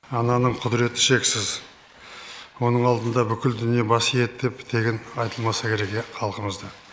ананың құдіреті шексіз оның алдында бүкіл дүние бас иеді деп тегін айтылмаса керек иә халқымызда